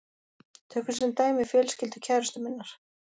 Tökum sem dæmi fjölskyldu kærustu minnar.